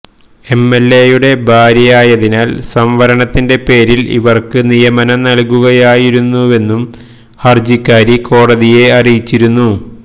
എംഎൽഎയുടെ ഭാര്യയായതിനാൽ സംവരണത്തിന്റെ പേരിൽ ഇവർക്ക് നിയമനം നൽകുകയായിരുന്നുവെന്നും ഹർജിക്കാരി കോടതിയെ അറിയിച്ചിരുന്നു